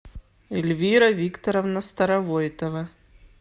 эльвира викторовна старовойтова